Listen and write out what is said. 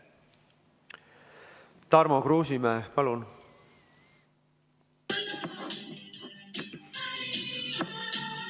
Tarmo Kruusimäe, palun!